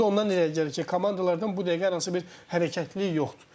Bu da ondan irəli gəlir ki, komandalardan bu dəqiqə hər hansı bir hərəkətlilik yoxdur.